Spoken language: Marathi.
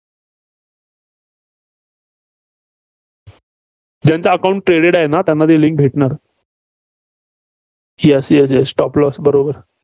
ज्यांचं account traded आहे, त्यांना ती link भेटणार. ही अशी आहे, stop loss बरोबर.